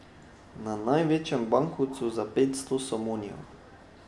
Na največjem bankovcu za petsto somonijev.